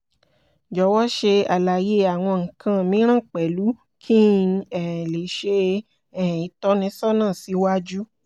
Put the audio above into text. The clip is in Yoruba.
jọwọ ṣe àlàyé awọn nnkan mìíràn pẹ̀lú ki n um lè ṣe um ìtọ́nisọ́nà siwaju